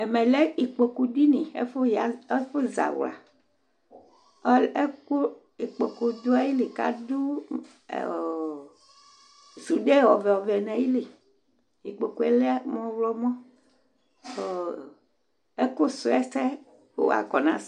ɛʋɛ lɛ ɩƙpoku ɖɩŋi ɛƙʊ Zawla ɛƙʊ ɩƙpokʊ ɖiŋi kaɖʊ suɖé ɔʋɛ ɔʋɛ ŋayɩlɩ iƙpoku mʊ ʊwlɔmua ɛƙʊ sʊ ɛsɛ